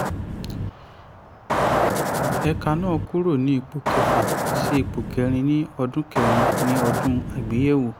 ẹ̀ka náà kúrò ní ipò kẹfà sí ipò kẹrin ní ọdún kẹrin ní ọdún àgbéyẹ̀wò.